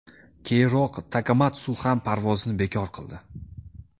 Keyinroq Takamatsu ham parvozini bekor qildi.